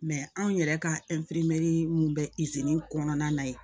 anw yɛrɛ ka mun bɛ kɔnɔna na yen